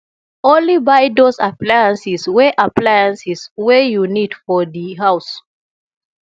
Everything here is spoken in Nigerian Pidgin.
only buy those appliances wey appliances wey you need for di house